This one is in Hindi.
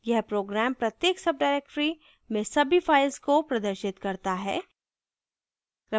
यह program प्रत्येक subdirectory में सभी files को प्रदर्शित करता है